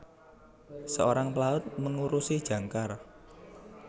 Seorang pelaut mengurusi jangkar